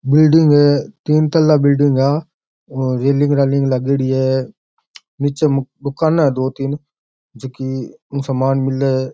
Building है तीन तला बिल्डिंग है आ और रेलिंग रालिंग लागेड़ी है निचे में दुकाना है दो तीन जकी सामान मिले है।